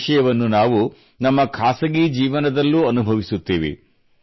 ಈ ವಿಷಯವನ್ನು ನಾವು ನಮ್ಮ ಖಾಸಗಿ ಜೀವನದಲ್ಲೂ ಅನುಭವಿಸುತ್ತೇವೆ